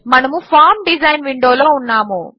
మనము form design window లో ఉన్నాము